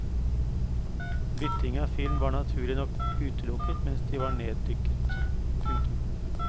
Bytting av film var naturlig nok utelukket mens de var neddykket. punktum